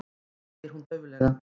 segir hún dauflega.